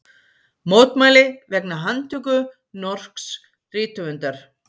Mótmæli vegna handtöku norsks rithöfundar